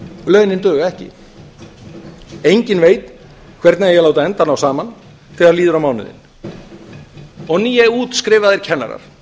launin duga ekki enginn veit hvernig eigi að láta enda ná saman þegar líður á mánuðinn og nýútskrifaðir kennarar